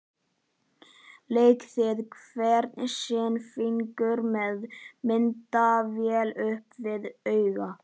Lék við hvern sinn fingur með myndavélina upp við auga.